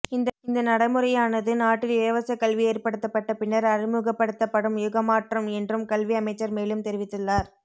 இந்த நடைமுறையானது நாட்டில் இலவசக் கல்வி ஏற்படுத்தப்பட்ட பின்னர் அறிமுகப்படுத்தப்படும் யுகமாற்றம் என்றும் கல்வி அமைச்சர் மேலும் தெரிவித்துள்ளார்